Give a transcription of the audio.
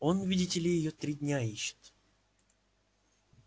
он видите ли её три дня ищет